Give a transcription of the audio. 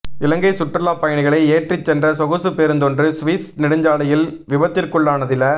இலங்கை சுற்றுலாப் பயணிகளை ஏற்றிச்சென்ற சொகுசு பேருந்தொன்று சுவிஸ் நெடுஞ்சாலையில் விபத்திற்குள்ளானதில